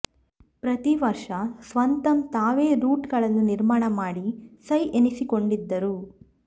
ಪ್ರತಿ ವರ್ಷ ಸ್ವತಂ ತಾವೇ ರೂಟ್ ಗಳನ್ನು ನಿರ್ಮಾಣ ಮಾಡಿ ಸೈ ಎನಿಸಿಕೊಂಡಿದ್ದರು